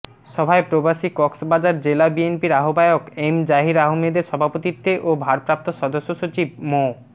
সভায় প্রবাসী কক্সবাজার জেলা বিএনপির আহ্বায়ক এম জহির আহমদের সভাপতিত্বে ও ভারপ্রাপ্ত সদস্য সচিব মো